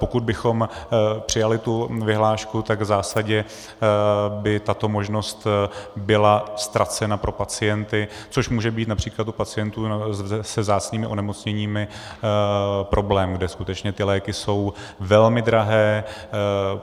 Pokud bychom přijali tu vyhlášku, tak v zásadě by tato možnost byla ztracena pro pacienty, což může být například u pacientů se vzácnými onemocněními problém, kde skutečně ty léky jsou velmi drahé.